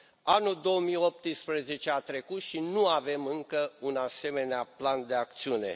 Anul 2018 a trecut și nu avem încă un asemenea plan de acțiune.